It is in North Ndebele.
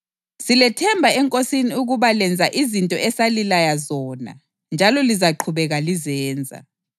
Silethemba eNkosini ukuba lenza izinto esalilaya zona njalo lizaqhubeka lizenza.